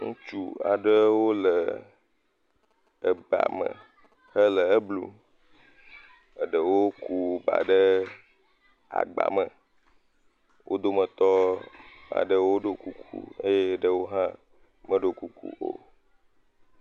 Ŋutsu aɖewo le eba mme hele eblum. Eɖewo ku ba ɖe agbame. Wo dometɔ aɖewo ɖo kuku eye eɖewo hã meɖo kuku o.